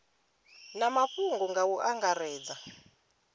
na mafhungo nga u angaredza